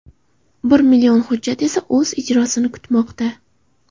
Bir million hujjat esa o‘z ijrosini kutmoqda.